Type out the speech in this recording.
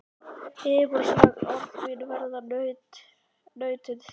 Yfirborðsleg orð mín verða nautn þín.